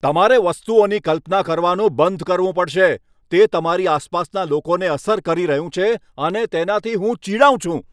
તમારે વસ્તુઓની કલ્પના કરવાનું બંધ કરવું પડશે. તે તમારી આસપાસના લોકોને અસર કરી રહ્યું છે અને તેનાથી હું ચીડાઉં છું.